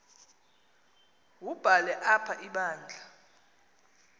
wubhale apha ibandla